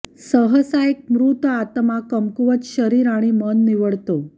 सहसा एक मृत आत्मा कमकुवत शरीर आणि मन निवडतो